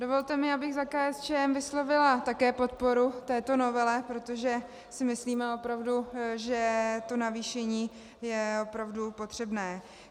Dovolte mi, abych za KSČM vyslovila také podporu této novele, protože si myslíme opravdu, že to navýšení je opravdu potřebné.